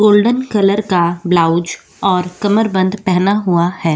Golden colour का ब्लाउज और कमरबंद पहना हुआ है।